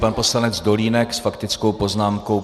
Pan poslanec Dolínek s faktickou poznámkou.